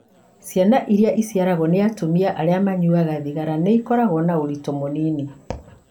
Ciana iria ciciarũo nĩ atumia arĩa manyuaga thigara nĩ ikoragwo na ũritũ mũnini.